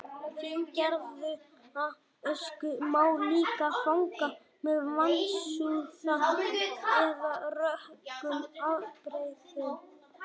fíngerða ösku má líka fanga með vatnsúða eða rökum ábreiðum